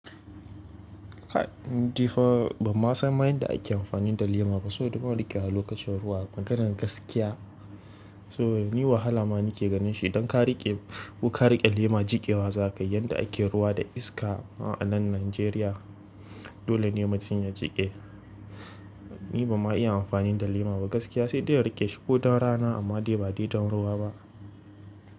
Ni fa ban ma san ma yan da ake amfani da lema ba soboda ban riƙewa lokacin ruwa. Maganar gaskiya. So ni wahala ma ni ke ganin shi. Don ka riƙe, ko ka riƙe lema jiƙewa za ka yi. Yanda ake ruwa da iska a nan Najeriya, dole ne mutum ya jiƙe. Ni ba ma iya amfani da lema ba gaskiya. Sai dai na riƙe shuku don rana amma dai ba dai don ruwa ba.